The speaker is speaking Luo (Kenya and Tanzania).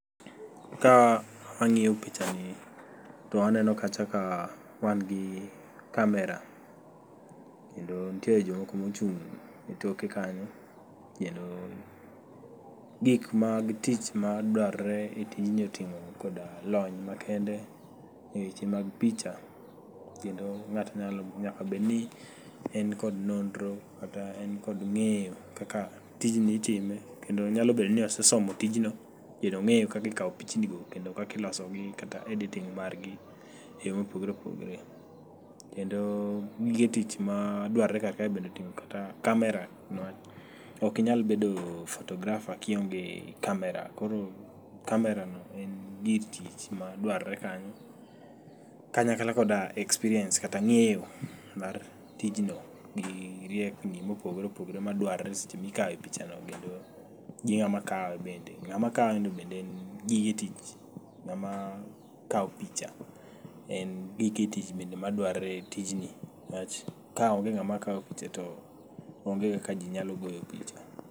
Ka ang'iyo picha ni to aneno kacha ka wan gi kamera, kendo ntie jomoko mochung' e toke kanyo. Kendo gik mag tich ma dwarore e tijni oting'o koda lony makende eweche mag picha. Kendo ng'ato nyaka bedni en kod nonro kata en kod ng'eyo kaka tijni itime, kendo nyalo bedo ni osesomo tijno kendo ong'eyo kakikawo pichni go kendo kakilosogi kata editing margi e yo mopogore opogore. Kendo gige tich ma dwarore kar kae bende oting'o kata kamera. Niwach okinyal bedo photographer kionge kamera, koro kamerano en gir tich ma dwarore kanyo kanyakla koda experience kata ng'eyo mar tijno gi riekni mopogore opogore madwarore seche mikawo picha no. Kendo gi ng'ama kawe bende, ng'ama kaweno bende en gige tich ng'ama kawo picha en gige tich bende madwarore e tijni. Niwach kaonge ng'ama kawo picha to onge kaka ji nyalo goyo picha.